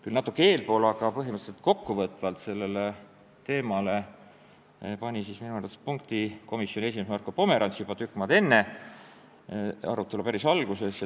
Küll natuke eespool, aga kokkuvõtvalt pani sellele teemale minu arust punkti komisjoni esimees Marko Pomerants juba päris arutelu alguses.